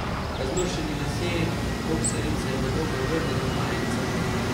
Razmršeni lasje, boksarice, narobe obrnjena majica.